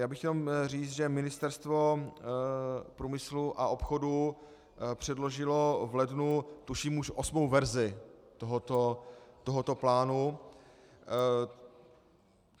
Jenom bych chtěl říct, že Ministerstvo průmyslu a obchodu předložilo v lednu tuším už osmou verzi tohoto plánu.